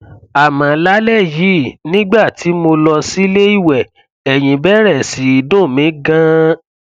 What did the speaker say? àmọ lálẹ yìí nígbà tí mo lọ sílé ìwẹ ẹyìn bẹrẹ sí í dùn mí ganan